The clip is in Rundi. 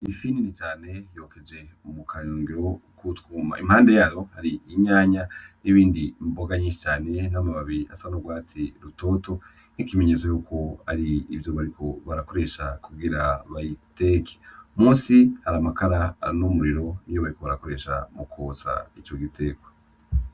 Ifi nini cane yokeje kukayungiro k'utwuma impande yayo har'itomati n'ibindi n'amababi asa n'urwatsi rutoto nk'ikimenyetso yuko arivyo bariko barakoresha kugira bayiteke, musi har'amakara n'umuriro niwo bariko barakoresha mukotsa ico gitekwa.